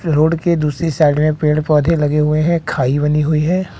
Road के दूसरी side में पेड़ पौधे लगे हुए हैं खाई बनी हुई हैं।